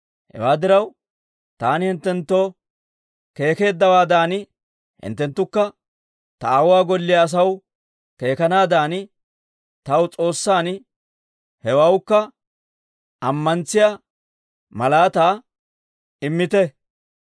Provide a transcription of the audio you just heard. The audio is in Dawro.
Hewaa diraw, taani hinttenttoo keekeeddawaadan, hinttenttukka ta aawuwaa golliyaa asaw keekanaadan taw S'oossan hewawukka ammantsiyaa malaataa immite.